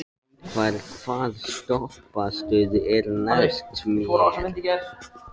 Ingvar, hvaða stoppistöð er næst mér?